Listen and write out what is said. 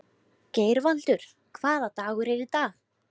Geirvaldur, hvaða dagur er í dag?